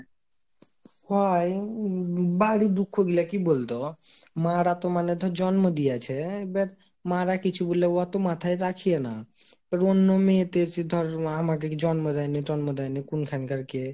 হয় বাড়ির দুঃখ গুলা কি বলতো? মা রা তো ধরে জন্ম দিয়েছে, এব্যার মা রা কিছু বললে এত মাথায় রাখিয়ে না, কিন্তু ধরে অন্য মেয়ে এসে ধর আমাকে জন্ম দেয়নি তন্ম দেয়নি কুনখানকার কে,